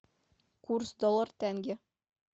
курс доллар тенге